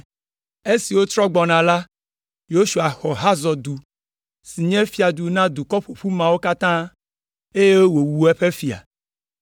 Esi wotrɔ gbɔna la, Yosua xɔ Hazor du, si nye fiadu na dukɔ ƒoƒu mawo katã, eye wòwu eƒe fia.